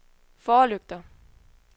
forlygter